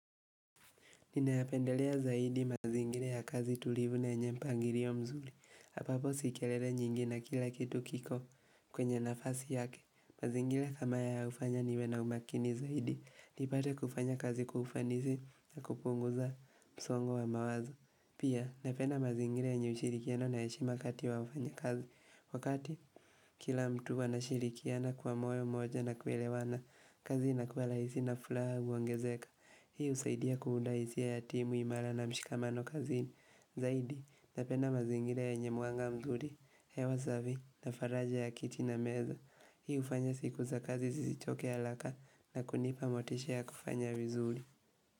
Ninayapendelea zaidi mazingira ya kazi tulivu na yenye mpangirio mzuri ambapo si kelele nyingi na kila kitu kiko kwenye nafasi yake mazingira kama haya hufanya niwe na umakini zaidi nipate kufanya kazi kwa ufanisi na kupunguza msongo wa mawazo Pia napenda mazingira yenye ushirikiano na heshima kati ya wafanyikazi Wakati kila mtu anashirikiana kuwa moyo moja na kuelewana kazi inakuwa laisi na fulaha huongezeka Hii husaidia kuunda hisia ya timu imala na mshikamano kazini Zaidi, napenda mazingira yenye mwanga mzuri hewa zavi, na faraja ya kiti na meza Hii hufanya siku za kazi zisichoke alaka na kunipa motisha ya kufanya wizuri.